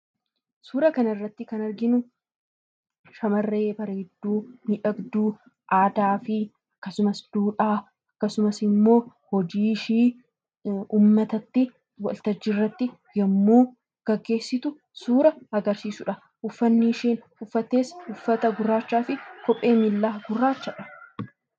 Suura kana irratti kan arginu shamarree bareedduu, miidhagduu aadaafi akkasumas duudhaa akkasumas ammoo hojii ishee uummatatti waltajjii irratti yemmuu gaggeessitu suura agarsiisudha. Uffanni isheen uffattes uffata gurraachaafi kophee miillaa gurraachadha.